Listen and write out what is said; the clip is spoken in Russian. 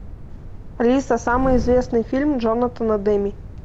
алиса самый известный фильм джонатана демми